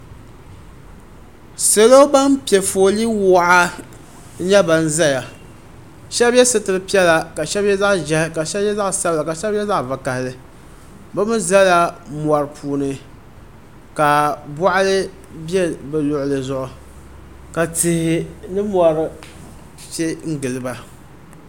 Salo ban pɛ foolii waɣa n nyɛ ban ʒɛya shab yɛ sitiri piɛla ka shab yɛ zaɣ' ʒiɛhi ka shab yɛ zaɣ' sabila ka shab yɛ zaɣ' vakaɣili bi mii ʒɛla mori puuni ka boɣali bɛ bi luɣuli zuɣu ka tihi ni mori pɛ n giliba